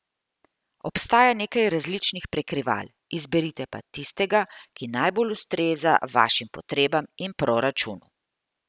Obstaja nekaj različnih prekrival, izberite pa tistega, ki najbolj ustreza vašim potrebam in proračunu.